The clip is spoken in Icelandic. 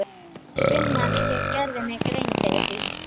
Hvenær ég gerði mér grein fyrir því?